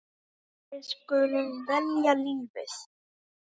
Við skulum velja lífið.